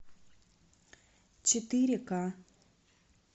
четыре ка